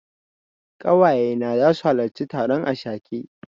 Ƙawaye na zasu halarci taron ashake.